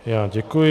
Já děkuji.